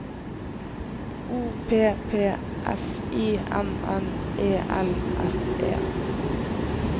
O P P F I N N E L S E